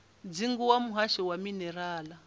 dzingu wa muhasho wa minerala